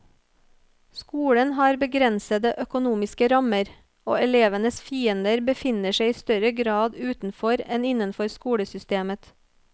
Skolen har begrensede økonomiske rammer, og elevenes fiender befinner seg i større grad utenfor enn innenfor skolesystemet.